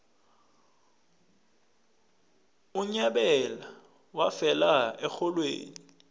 unyabela wafela erholweni